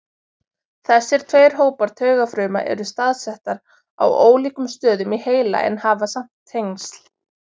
Þessir tveir hópar taugafruma eru staðsettar á ólíkum stöðum í heila en hafa samt tengsl.